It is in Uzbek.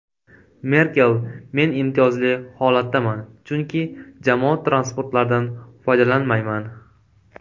Merkel: Men imtiyozli holatdaman, chunki jamoat transportlaridan foydalanmayman.